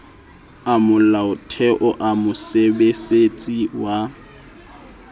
a molaotheo a mosebesetsi wa